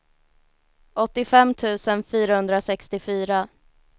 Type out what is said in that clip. åttiofem tusen fyrahundrasextiofyra